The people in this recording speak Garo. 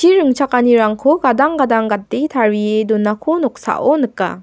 ringchakanirangko gadang gadang gate tarie donako noksao nika.